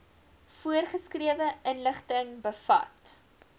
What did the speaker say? voorgeskrewe inligting bevat